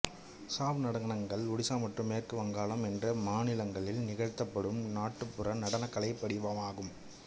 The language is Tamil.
சாவ் நடனங்கள் ஒடிசா மேற்கு வங்காளம் என்ற இரு மாநிலங்களில் நிகழ்த்தபடும் நாட்டுப்புற நடனக் கலைவடிவமாகும்